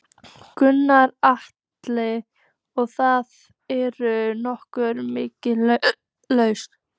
Gunnar Atli: Og það eru nokkrir miðar lausir?